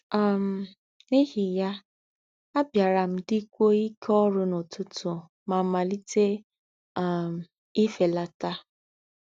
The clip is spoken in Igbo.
um N’íhí yá, àbí̀árá m dí̀kwúó íké órú na ututu mà màlíté um ìfélátà.